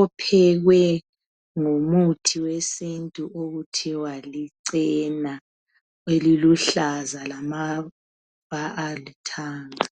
uphekwe ngomuthi wesintu okuthiwa lichena eliluhlaza lama ayalithanda